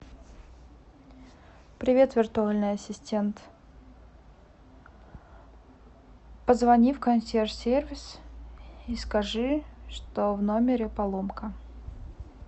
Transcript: привет виртуальный ассистент позвони в консьерж сервис и скажи что в номере поломка